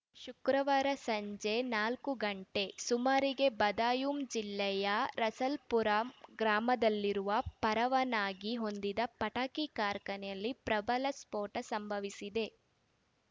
ಶುಕ್ರವಾರ ಸಂಜೆ ನಾಲ್ಕು ಗಂಟೆ ಸುಮಾರಿಗೆ ಬದಾಯೂಂ ಜಿಲ್ಲೆಯ ರಸಲ್ಪುರ ಗ್ರಾಮದಲ್ಲಿರುವ ಪರವಾನಗಿ ಹೊಂದಿದ ಪಟಾಕಿ ಕಾರ್ಖಾನೆಯಲ್ಲಿ ಪ್ರಬಲ ಸ್ಫೋಟ ಸಂಭವಿಸಿದೆ